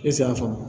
Ese y'a faamu